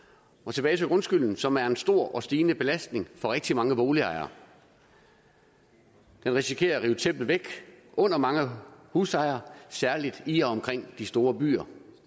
tilbage til grundskylden som er en stor og stigende belastning for rigtig mange boligejere den risikerer at rive tæppet væk under mange husejere særligt i og omkring de store byer og